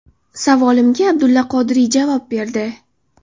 Savolimga Abdulla Qodiriy javob berdi.